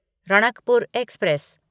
Ranakpur express